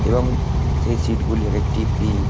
এবং সেই সিট -গুলি এক একেকটি পিংক --